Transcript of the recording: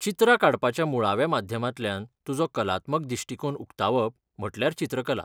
चित्रां काडपाच्या मुळाव्या माध्यमांतल्यान तुजो कलात्मक दिश्टीकोन उक्तावप म्हटल्यार चित्रकला.